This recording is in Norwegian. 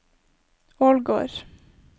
Ålgård